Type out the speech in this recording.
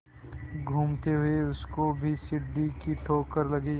घूमते हुए उसको भी सीढ़ी की ठोकर लगी